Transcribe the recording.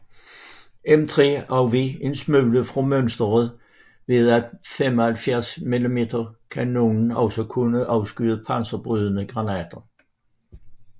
M3 afveg en smule fra mønsteret ved at 75 mm kanonen også kunne afskyde panserbrydende granater